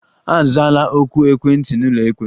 Azala oku ekwentị n'ụlọikpe!